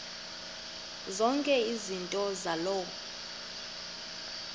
zonke izinto zaloo